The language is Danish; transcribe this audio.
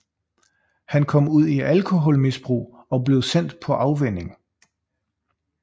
Han kom ud i alkoholmisbrug og blev sendt på afvænning